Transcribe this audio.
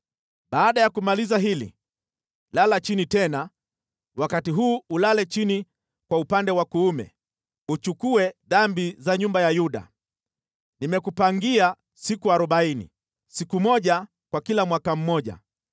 “Baada ya kumaliza hili, lala chini tena, wakati huu ulale chini kwa upande wa kuume, uchukue dhambi za nyumba ya Yuda. Nimekupangia siku arobaini, siku moja kwa kila mwaka mmoja.